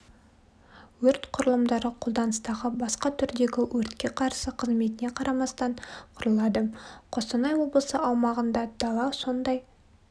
өрт құрылымдары қолданыстағы басқа түрдегі өртке қарсы қызметіне қарамастан құрылады қостанай облысы аумағында дала сондай